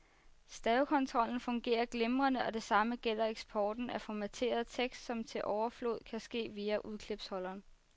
Stavekontrollen fungerer glimrende, og det samme gælder eksporten af formateret tekst, som til overflod kan ske via udklipsholderen.